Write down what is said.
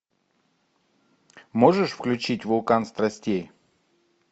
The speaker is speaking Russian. можешь включить вулкан страстей